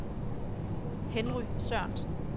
Henry Sørensen